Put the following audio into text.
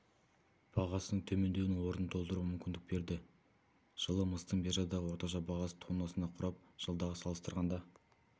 бағасының төмендеуінің орнын толтыруға мүмкіндік берді жылы мыстың биржадағы орташа бағасы тоннасына құрап жылдағы салыстырғанда